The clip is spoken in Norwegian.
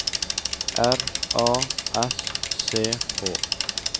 R A S C H